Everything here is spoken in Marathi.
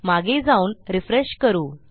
मागे जाऊन रिफ्रेश करू